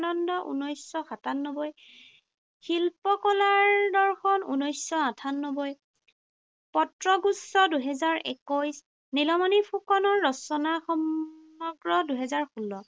ঊনৈশশ সাতানব্বৈ, শিল্পকলাৰ দৰ্শন, ঊনৈশশ আঠানব্বৈ, পত্ৰগুচ্ছ, দুহেজাৰ একৈশ। নীলমণি ফুকনৰ ৰচনা সমগ্ৰ, দুহেজাৰ ষোল্ল।